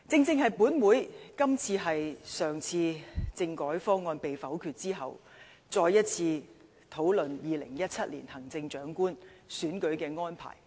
今天，本會繼上次政改方案被否決後，再次討論2017年行政長官選舉的安排。